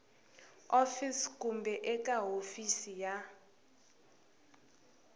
office kumbe eka hofisi ya